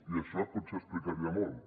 i això potser ho explicaria molt